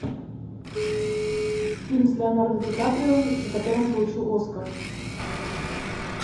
фильм с леонардо ди каприо за который он получил оскар